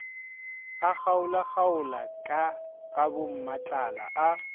a kgaolakgaola ka gabommatlala a